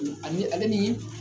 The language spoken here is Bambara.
O ale ale ni